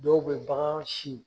Dɔw bɛ bagan sin